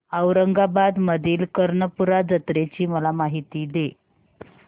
औरंगाबाद मधील कर्णपूरा जत्रेची मला माहिती दे